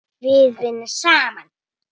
Við vinnum saman!